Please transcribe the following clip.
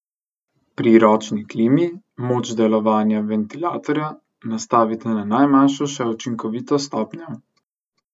Pri ročni klimi moč delovanja ventilatorja nastavite na najmanjšo še učinkovito stopnjo.